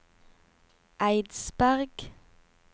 Eidsberg